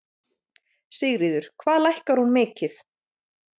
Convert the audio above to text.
Sigríður: Hvað lækkar hún mikið?